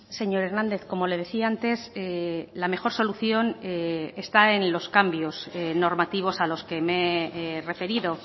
señor hernández como le decía antes la mejor solución está en los cambios normativos a los que me he referido